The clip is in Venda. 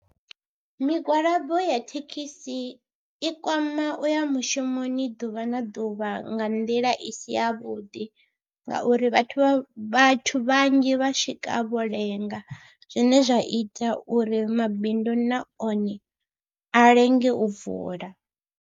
Migwalabo ya thekhisi i kwama u ya mushumoni ḓuvha na ḓuvha nga nḓila i si yavhuḓi ngauri vhathu vha vhathu vhanzhi vha swika vho lenga zwine zwa ita uri mabindu na one a lenge u vula.